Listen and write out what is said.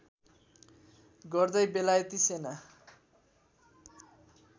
गर्दै बेलायती सेना